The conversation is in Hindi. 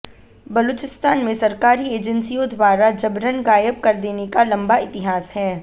बलूचिस्तान में सरकारी एजेंसियों द्वारा जबरन गायब कर देने का लंबा इतिहास है